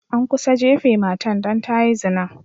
An kusa jafe matan dan ta yi zina.